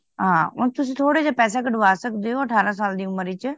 ਹਾਂ ਉਂਝ ਤੁਸੀ ਥੋੜੇ ਜੇ ਪੈਸੇ ਕਢਵਾ ਸਕਦੇ ਹੋ ਅਠਾਰਾਂ ਸਾਲ ਦੀ ਉਮਰ ਚ